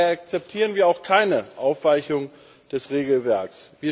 Daher akzeptieren wir auch keine Aufweichung des Regelwerks.